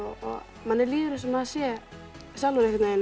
manni líður eins og maður sé sjálfur